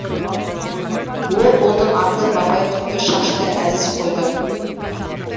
ол ұлдың аты бабайтүкті шашты әзіз қойды